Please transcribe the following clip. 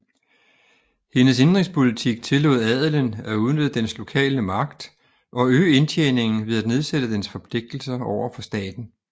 Hendes indenrigspolitik tillod adelen at udnytte dens lokale magt og øge indtjeningen ved at nedsætte dens forpligtelser over for staten